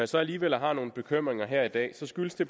så alligevel har nogle bekymringer her i dag skyldes det